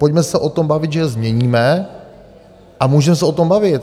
Pojďme se o tom bavit, že je změníme a můžeme se o tom bavit.